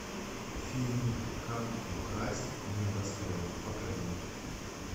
фильмик как украсть небоскреб покажи